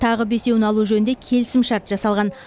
тағы бесеуін алу жөнінде келісімшарт жасалған